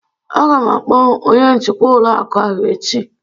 Aga m akpọ onye njikwa ụlọ akụ ahụ echi